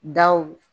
Daw